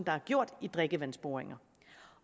er gjort i drikkevandsboringer